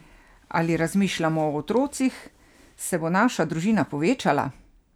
Ali razmišljamo o otrocih, se bo naša družina povečala?